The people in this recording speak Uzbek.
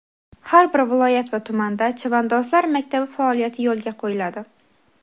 har bir viloyat va tumanda "Chavandozlar maktabi" faoliyati yo‘lga qo‘yiladi.